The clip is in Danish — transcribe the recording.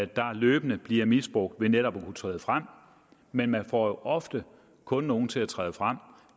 der løbende bliver misbrugt ved netop at træde frem men man får ofte kun nogen til at træde frem